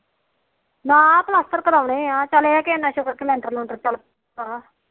ਨਾ ਪਲਾਸਤ ਕਰੋਣੇ ਆ ਚੱਲ ਇਹ ਕੇ ਲੈਂਟਰ ਲੂੰਟਰ